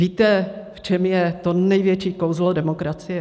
Víte, v čem je to největší kouzlo demokracie?